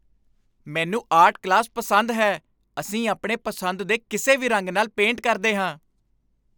ਮੈਨੂੰ art class ਪਸੰਦ ਹੈ। ਅਸੀਂ ਆਪਣੀ ਪਸੰਦ ਦੇ ਕਿਸੇ ਵੀ ਰੰਗ ਨਾਲ ਪੇਂਟ ਕਰਦੇ ਹਾਂ।